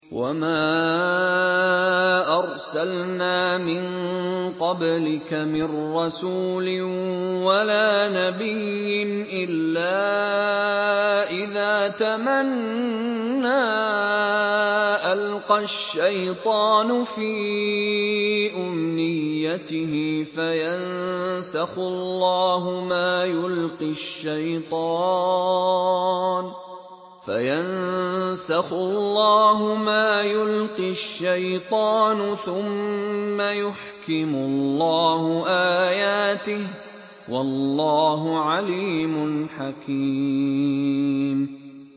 وَمَا أَرْسَلْنَا مِن قَبْلِكَ مِن رَّسُولٍ وَلَا نَبِيٍّ إِلَّا إِذَا تَمَنَّىٰ أَلْقَى الشَّيْطَانُ فِي أُمْنِيَّتِهِ فَيَنسَخُ اللَّهُ مَا يُلْقِي الشَّيْطَانُ ثُمَّ يُحْكِمُ اللَّهُ آيَاتِهِ ۗ وَاللَّهُ عَلِيمٌ حَكِيمٌ